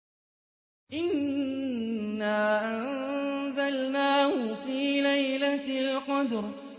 إِنَّا أَنزَلْنَاهُ فِي لَيْلَةِ الْقَدْرِ